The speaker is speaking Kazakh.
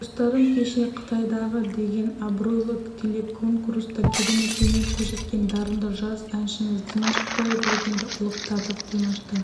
достарым кеше қытайдағы деген абыройлы телеконкурста керемет өнер көрсеткен дарынды жас әншіміз димаш құдайбергенді ұлықтадық димашты